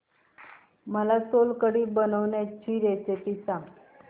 मला सोलकढी बनवायची रेसिपी सांग